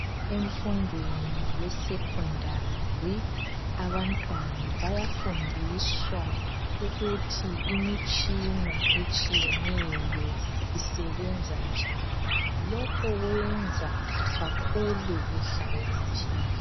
Emfundweni yesekhondari abantwana bayafundiswa ukuthi imitshina etshiyeneyo isebenza njani. Lokhu kwenza bakhule behlakaniphile.